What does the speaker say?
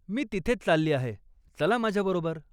मी तिथेच चालली आहे, चला माझ्या बरोबर.